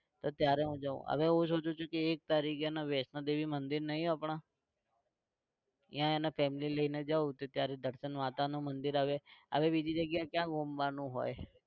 તો ત્યારે હું જાવ હવે હું સોચું છું કે એક તારીખે હેને વૈષ્ણોદેવી મંદિર નહિ આપણે ત્યાં હેને family લઇને જાવ તો ત્યારે દર્શન માતાનું મંદિર હવે બીજી જગ્યા ક્યાં ઘૂમવાનું હોય?